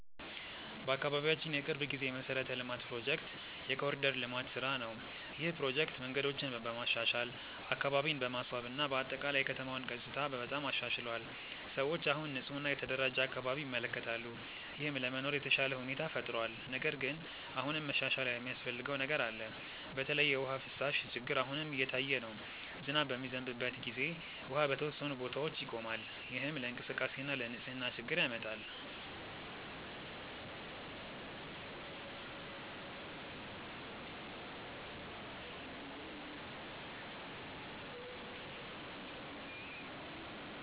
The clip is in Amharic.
በአካባቢያችን የቅርብ ጊዜ የመሠረተ ልማት ፕሮጀክት የ“ኮሪደር ልማት” ስራ ነው። ይህ ፕሮጀክት መንገዶችን በማሻሻል፣ አካባቢን በማስዋብ እና በአጠቃላይ የከተማውን ገጽታ በጣም አሻሽሏል። ሰዎች አሁን ንፁህ እና የተደራጀ አካባቢ ይመለከታሉ፣ ይህም ለመኖር የተሻለ ሁኔታ ፈጥሯል። ነገር ግን አሁንም መሻሻል የሚያስፈልገው ነገር አለ። በተለይ የውሃ ፍሳሽ ችግር አሁንም እየታየ ነው። ዝናብ በሚዘንብበት ጊዜ ውሃ በተወሰኑ ቦታዎች ይቆማል፣ ይህም ለእንቅስቃሴ እና ለንፅህና ችግር ያመጣል።